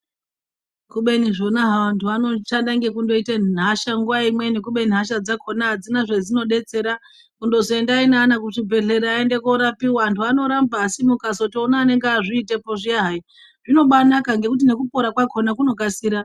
Kubeni zvona havo vanhu vanoshanda nekundoita hasha nguwa imweni kubeni hasha dzakona hadzina nezvadzinobetsera .kundozi endai nevana kuzvibhehlera aende korapiwa antu anoramba asi mukazootona anenge azviitepo hayi zvinobaanaka nekuti nekupora kwacho kunokasira